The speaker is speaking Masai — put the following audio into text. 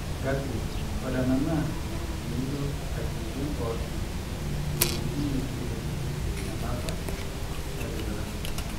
gapping: ore ena naa enilo aigilie mpoosho ewuejitin neitu epuku nena apa nitipika